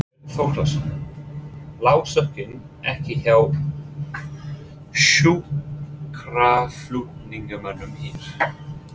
Björn Þorláksson: Lá sökin ekki hjá sjúkraflutningamönnum hér?